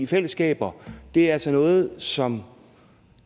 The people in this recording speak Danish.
fællesskaber er altså noget som